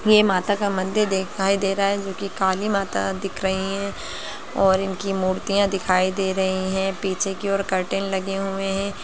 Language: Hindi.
यह माता का मंदिर दिखाई दे रहा हैजोकी काली माता दिख रही है और इनकी मूर्तियां दिखाई दे रही है पीछे की और कर्टेन लगे हुए है ।